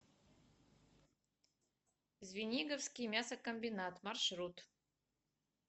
звениговский мясокомбинат маршрут